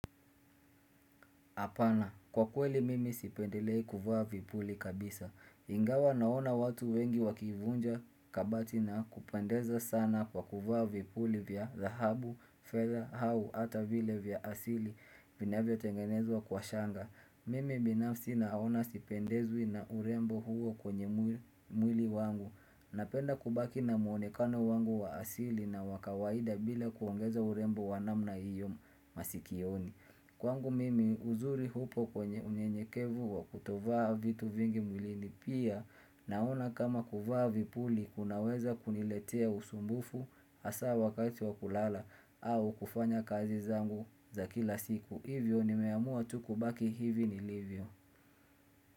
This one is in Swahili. Hapana, kwa kweli mimi sipendelei kuvaa vipuli kabisa. Ingawa naona watu wengi wakivunja kabati na kupendeza sana kwa kuvaa vipuli vya dhahabu, fedha, au, hata vile vya asili vinavyotengenezwa kwa shanga. Mimi binafsi naona sipendezwi na urembo huo kwenye mwili wangu. Napenda kubaki na mwonekano wangu wa asili na wa kawaida bila kuongeza urembo wa namna hiyo masikioni. Kwangu mimi uzuri upo kwenye unyenyekevu wa kutovaa vitu vingi mwilini pia naona kama kuvaa vipuli kunaweza kuniletea usumbufu hasa wakati wa kulala au kufanya kazi zangu za kila siku. Hivyo nimeamua tu kubaki hivi nilivyo.